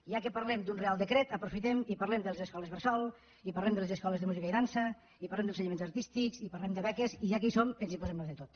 ja que parlem d’un reial decret aprofitem i parlem de les escoles bressol i parlem de les escoles de música i dansa i parlem d’ensenyaments artístics i parlem de beques i ja que hi som ens hi posem a fer tot